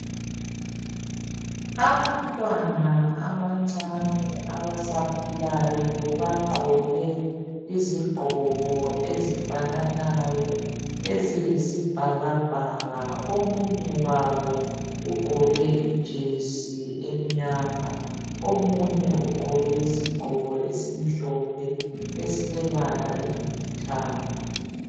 Abantwana abancane abasakhulayo bagqoke izigqoko ezifananayo eziyibhakabhaka omunye wabo ijesi emnyama omunye ugqoke isigqoko esimhlophe esilebala elilithanga.